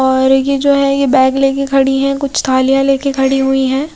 और ये जो है ये बैग लेकर खड़ी है कुछ थालियां लेकर खड़ी हुई है।